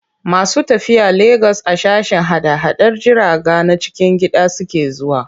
Masu tafiya Legas a sashen hada-hadar jiraga na cikin gida suke zuwa.